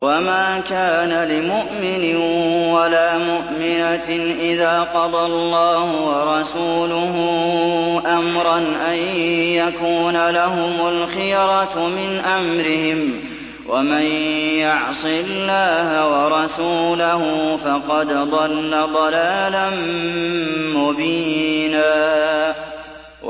وَمَا كَانَ لِمُؤْمِنٍ وَلَا مُؤْمِنَةٍ إِذَا قَضَى اللَّهُ وَرَسُولُهُ أَمْرًا أَن يَكُونَ لَهُمُ الْخِيَرَةُ مِنْ أَمْرِهِمْ ۗ وَمَن يَعْصِ اللَّهَ وَرَسُولَهُ فَقَدْ ضَلَّ ضَلَالًا مُّبِينًا